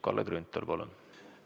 Kalle Grünthal, palun!